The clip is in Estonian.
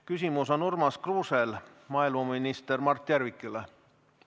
Küsimus on Urmas Kruusel maaeluminister Mart Järvikule.